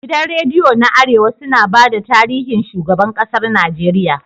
Gidan rediyo na arewa sun bada tarihin shigaban ƙasar nageria